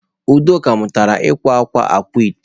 Udoka mutara ikwa akwa akwaete.